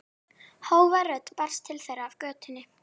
Hávær rödd barst til þeirra af götunni